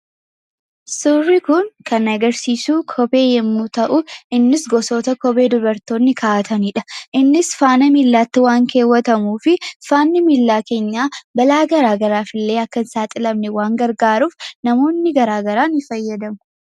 Suurri Kun kan inni agarsiisu kophee yoo ta'u innis gosoota kophee dubartootni kaawwatanidha. Innis faana miillatti waan kaawwatamuuf balaa miila keenya irraa ittisuuf gargaara.